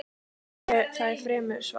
Það er fremur svalt.